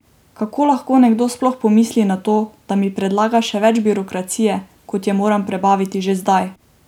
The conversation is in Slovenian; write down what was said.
Kako lahko nekdo sploh pomisli na to, da mi predlaga še več birokracije, kot je moram prebaviti že zdaj?